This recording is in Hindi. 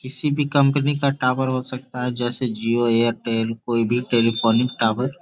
किसी भी कंपनी का टावर हो सकता है जैसे जिओ एयरटेल कोई भी टेलीफोनिक टावर --